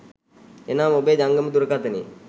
එනම් ඔබේ ජංගම දුරකථනයේ